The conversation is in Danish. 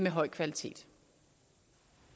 høj kvalitet